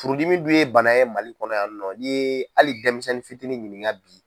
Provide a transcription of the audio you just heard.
Furudimi dun ye bana ye Mali kɔnɔ yan nɔ n'i ye hali denmisɛnnin fitinin ɲininka bi